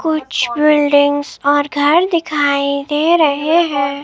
कुछ बिल्डिंग्स और घर दिखाई दे रहे हैं।